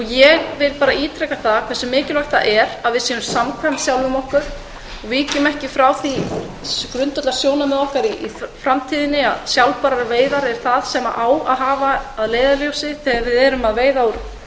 ég vil ítreka hve mikilvægt er að við séum samkvæm sjálfum okkur að við víkjum ekki frá því grundvallarsjónarmiði okkar í framtíðinni að við eigum að hafa sjálfbærar veiðar að leiðarljósi þegar við erum að veiða úr